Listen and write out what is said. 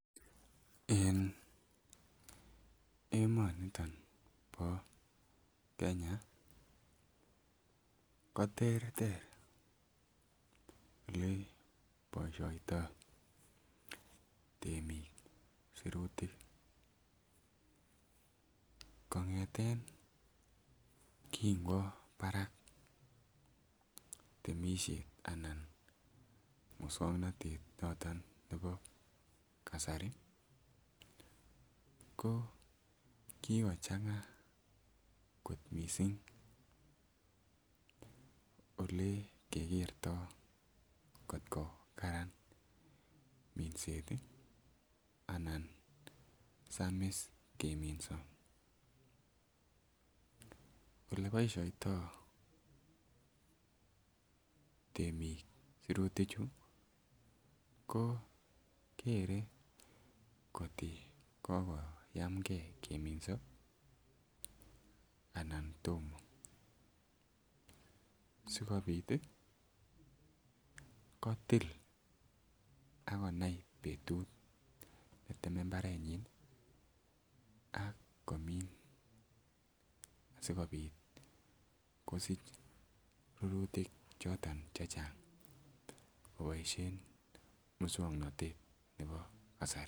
En emoniton bo Kenya koterter ole boishoniton temik sirutik kongeten kin kwo barak temishet ana muswoknotet noton nebo kasari ko kikochenga kot missing olekekerto kotko Karan minset anan samis keminso. Ole boishoniton temik sirutik chuu ko kere kotko kokoyamgee keminso anan Tomo sikopit tii kotil akonai betut neteme imbarenyin nii a komin asikopit kosich rurutik choto chechang koboishen muswoknotet nebo kasari.